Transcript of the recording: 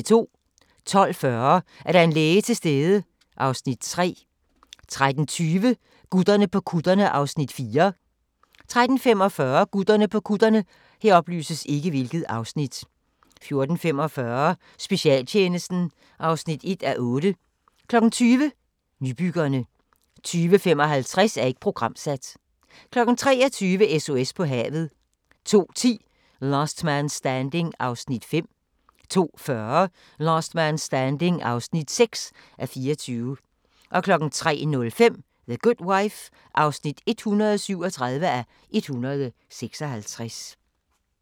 12:40: Er der en læge til stede? (Afs. 3) 13:20: Gutterne på kutterne (Afs. 4) 13:45: Gutterne på kutterne 14:45: Specialtjenesten (1:8) 20:00: Nybyggerne 20:55: Ikke programsat 23:00: SOS på havet 02:10: Last Man Standing (5:24) 02:40: Last Man Standing (6:24) 03:05: The Good Wife (137:156)